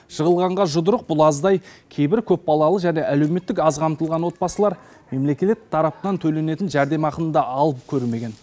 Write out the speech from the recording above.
жығылғанға жұдырық бұл аздай кейбір көпбалалы және әлеуметтік аз қамтылған отбасылар мемлекет тарапынан төленетін жәрдемақыны да алып көрмеген